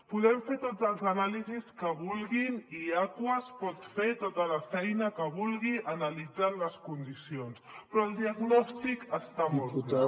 podem fer totes les anàlisis que vulguin i aquas pot fer tota la feina que vulgui analitzant les condicions però el diagnòstic està molt clar